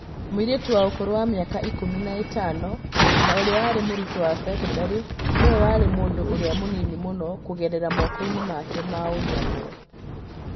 Mũirĩtu wa ũkũrũ wa mĩaka ikũmi na ĩtano na ũrĩa warĩ mũrutwo wa cekondarĩ nĩwe warĩ mũndũ ũrĩa mũnini mũno kũgerera moko-inĩ make ma ũnyamũ